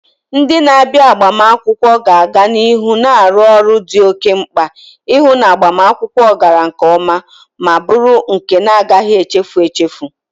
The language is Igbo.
Ndị na-abịa agbamakwụkwọ ga-aga n'ihu na-arụ ọrụ dị oke mkpa, ihu na agbamakwụkwọ gara nke oma ma buru nke na-agaghi echefu echefu.